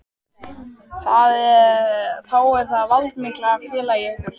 Þá er það Valdimar félagi ykkar.